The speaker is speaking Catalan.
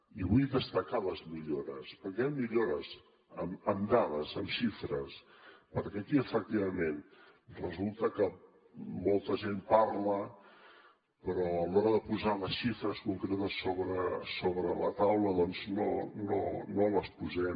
i vull destacar ne les millores perquè hi han millores amb dades amb xifres perquè aquí efectivament resulta que molta gent parla però a l’hora de posar les xifres concretes sobre la taula doncs no les posem